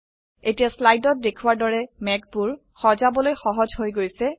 এতিয়া স্লাইডত দেখাৱাৰ দৰে মেঘবোৰ সজাবলৈ সহজ হৈ গৈছে